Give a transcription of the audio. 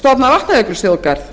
stofna vatnajökulsþjóðgarð